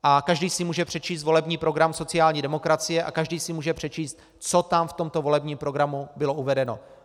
Každý si může přečíst volební program sociální demokracie a každý si může přečíst, co tam v tomto volebním programu bylo uvedeno.